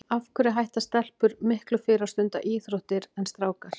Af hverju hætta stelpur miklu fyrr að stunda íþróttir en strákar?